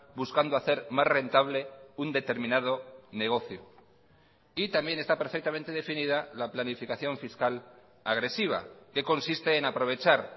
buscando hacer más rentable un determinado negocio y también está perfectamente definida la planificación fiscal agresiva que consiste en aprovechar